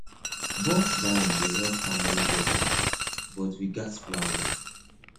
bulk buying dey help family budget but we gats plan well